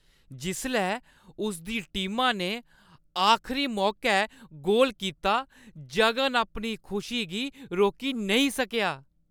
जिसलै उसदी टीमा ने आखरी मौकै गोल कीता जगन अपनी खुशी गी रोकी नेईं सकेआ ।